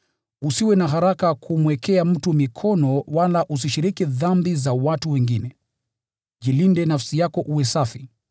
Usiwe na haraka kumwekea mtu mikono wala usishiriki dhambi za watu wengine. Jilinde nafsi yako uwe safi.